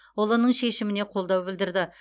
ұлының шешіміне қолдау білдірді